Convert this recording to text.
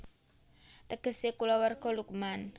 Tegesé Kulawarga Luqman